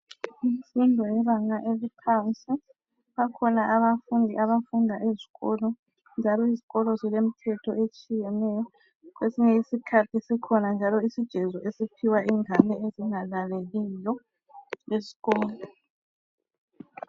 Imfundo yebanga eliphansi bakhona abafundi abafunda ezikolo njalo izikolo zilemithetho etshiyeneyo kwesinye isikhathi sikhona njalo isijezo esiphiwa izingane ezingalaleliyo esikolo.